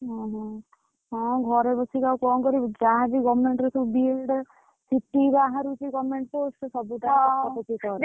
ହଁ ହଁ, ହଁ ଘରେ ବସିକି ଆଉ କଣ କରିବୁ କି ଯାହା ବି government ର ସବୁ BEd ବାହରୁଛି government post ସେ ସବୁତକ ପକା ପାକି କରେ ।